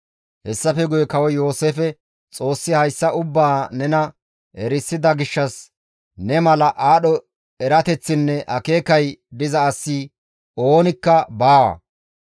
Hessafe guye kawoy Yooseefe, «Xoossi hayssa ubbaa nena erisida gishshas ne mala aadho erateththinne akeekay diza asi oonikka baawa.